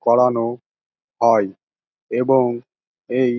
করানো হয় এবং এই --